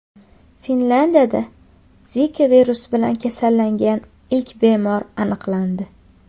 Finlyandiyada Zika virusi bilan kasallangan ilk bemorlar aniqlandi.